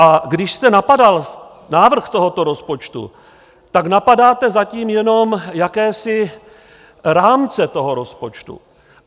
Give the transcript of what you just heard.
A když jste napadal návrh tohoto rozpočtu, tak napadáte zatím jenom jakési rámce toho rozpočtu.